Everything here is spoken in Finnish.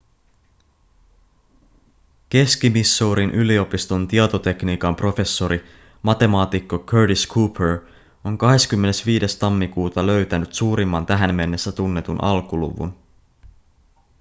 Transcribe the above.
keski-missourin yliopiston tietotekniikan professori matemaatikko curtis cooper on 25 tammikuuta löytänyt suurimman tähän mennessä tunnetun alkuluvun